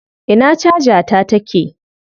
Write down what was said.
Ina caja ta take?